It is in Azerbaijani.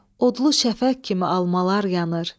Odlu şəfəq kimi almalar yanır.